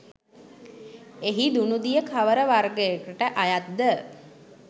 එහි දුනුදිය කවර වර්ගයකට අයත් ද?